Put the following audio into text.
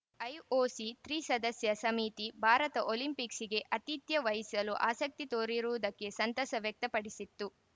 IOC ತ್ರಿ ಸದಸ್ಯ ಸಮಿತಿ ಭಾರತ ಒಲಿಂಪಿಕ್ಸ್‌ಗೆ ಆತಿಥ್ಯ ವಹಿಸಲು ಆಸಕ್ತಿ ತೋರಿರುವುದಕ್ಕೆ ಸಂತಸ ವ್ಯಕ್ತಪಡಿಸಿತ್ತು